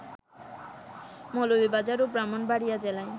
মৌলভীবাজার ও ব্রাহ্মণবাড়ীয়া জেলায়